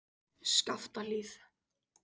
Skaftahlíð